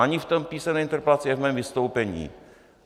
Ani v té písemné interpelaci, ani v mém vystoupení.